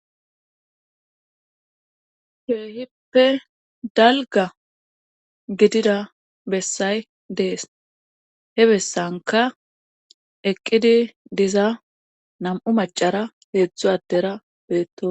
Ke'ippe dalgga gidida bessay dees he bessankka eqqidi diza nam'u macara heedzdzu adera beeto